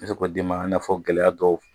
d'i ma i n'a fɔ gɛlɛya dɔw